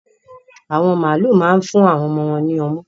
Àwọn màlúù ma ń fún àwon ọmọ wòn ní ọmú